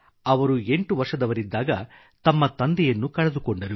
ಅವರು 8 ವರ್ಷದವರಿದ್ದಾಗ ತಮ್ಮ ತಂದೆಯನ್ನು ಕಳೆದುಕೊಂಡರು